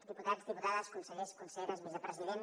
diputats diputades consellers conselleres vicepresident